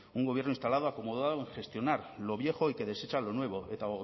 un gobierno instalado acomodado en gestionar lo viejo y que desecha lo nuevo eta